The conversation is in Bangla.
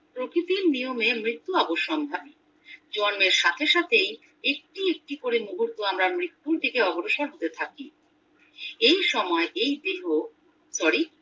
প্রকৃতির নিয়মে মৃত্যু অবসম্ভাবী জন্মের সাথে সাথেই একটুঁ একটু করে মুহূর্ত আমরা মৃত্যুর দিকে অগ্রসর হতে থাকি এই সময় এই দেহ sorry